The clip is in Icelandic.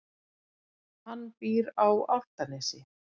Hann býr á Álftanesi.